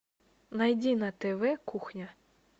найди на тв кухня